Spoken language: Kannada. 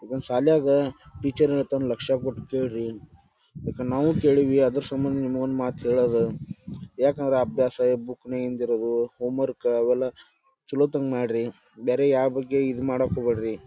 ಸಾಲ್ಯಾಗ ಟೀಚರ್ ಹೇಳೋದನ್ನ ಲಕ್ಷ ಕೊಟ್ಟು ಕೇಳ್ರಿ ಯಾಕಂದ್ರ ನಾವೂ ಕೇಳೇವಿ ಅದರ ಸಮ್ಮಂದ ನಿಮ್ಗೊಂದ್ ಮಾತು ಹೇಳೂದ ಯಾಕಂದ್ರ ಅಭ್ಯಾಸ ಬುಕ್ ನ್ಯಗಿಂದ ಇರೂದು ಹೋಮರ್ಕ್ ಅವೆಲ್ಲ ಛಲೋತಂಗ್ ಮಾಡ್ರಿ ಬೇರೆ ಯಾವ್ ಬಗ್ಗೆ ಇದ್ ಮಾಡಾಕ್ ಹೋಗ್ಬ್ಯಾಡ್ರಿ.